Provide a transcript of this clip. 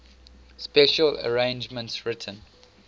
special arrangements written